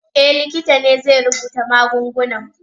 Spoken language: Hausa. E, likita ne zai rubuta magungunan.